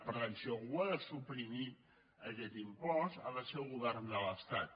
per tant si algú ha de suprimir aquest impost ha de ser el govern de l’estat